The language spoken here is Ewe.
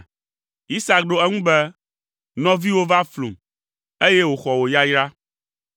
Isak ɖo eŋu be, “Nɔviwò va flum, eye wòxɔ wò yayra.”